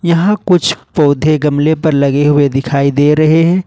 यहां कुछ पौधे गमले पर लगे हुए दिखाई दे रहे हैं ।